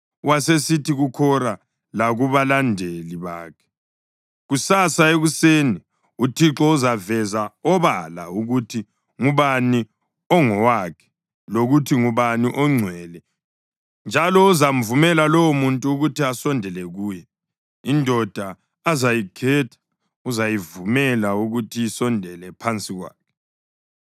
Wasesithi kuKhora lakubalandeli bakhe: “Kusasa ekuseni uThixo uzaveza obala ukuthi ngubani ongowakhe lokuthi ngubani ongcwele, njalo uzamvumela lowomuntu ukuthi asondele kuye. Indoda azayikhetha uzayivumela ukuthi isondele phansi kwakhe.